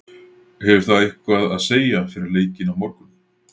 Hefur það eitthvað að segja fyrir leikinn á morgun?